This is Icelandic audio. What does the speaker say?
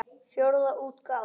Fjórða útgáfa.